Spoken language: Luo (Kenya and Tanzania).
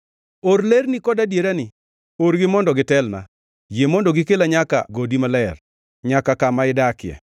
Or lerni kod adierani, orgi mondo gitelna; yie mondo gikela nyaka godi maler, nyaka kama idakie.